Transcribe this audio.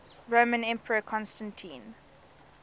roman emperor constantine